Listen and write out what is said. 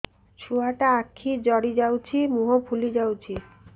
ଛୁଆଟା ଆଖି ଜଡ଼ି ଯାଉଛି ମୁହଁ ଫୁଲି ଯାଉଛି